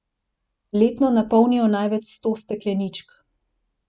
Letno napolnijo največ sto stekleničk.